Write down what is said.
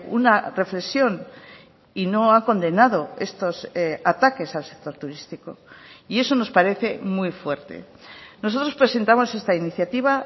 una reflexión y no ha condenado estos ataques al sector turístico y eso nos parece muy fuerte nosotros presentamos esta iniciativa